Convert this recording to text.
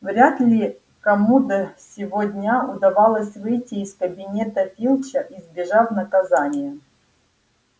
вряд ли кому до сего дня удавалось выйти из кабинета филча избежав наказания